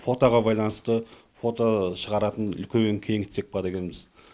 фотоға байланысты фото шығаратын кеңітсек па дегенбіз